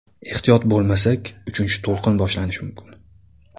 Ehtiyot bo‘lmasak, uchinchi to‘lqin boshlanishi mumkin.